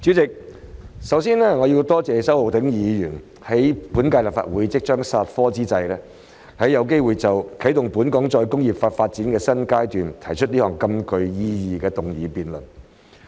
主席，首先我要多謝周浩鼎議員，在本屆立法會即將煞科之際，有機會就"啟動本港再工業化發展的新階段"，提出這項極具意義的議案辯論。